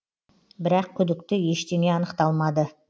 бірақ күдікті ештеңе анықталмады